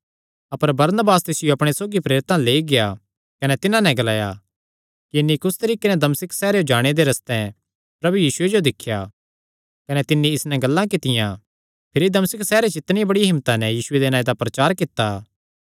अपर Barnabas तिसियो अपणे सौगी प्रेरितां अल्ल लेई गेआ कने तिन्हां नैं ग्लाया कि इन्हीं कुस तरीके नैं दमिश्क सैहरेयो जाणे दे रस्ते च प्रभु यीशुये जो दिख्या कने तिन्नी इस नैं गल्लां कित्तियां भिरी दमिश्क सैहरे च इन्हीं बड़िया हिम्मता नैं यीशुये दे नांऐ दा प्रचार कित्ता